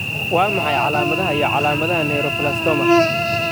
Waa maxay calaamadaha iyo calaamadaha Neuroblastoma?